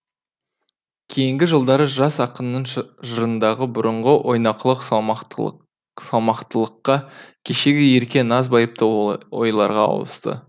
кейінгі жылдары жас ақынның жырындағы бұрынғы ойнақылық салмақтылыққа кешегі ерке наз байыпты ойларға ауысты